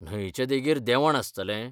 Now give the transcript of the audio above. न्हंयचे देगेर देंवण आसतलें?